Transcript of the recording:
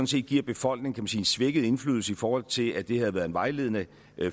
set giver befolkningen en svækket indflydelse i forhold til at det havde været en vejledende